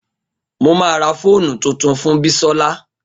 Mo ma ra fóònù tuntun fún Bisola